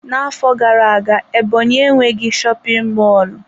Na-afọ gara aga Ebonyi enweghị shopin mọlụ.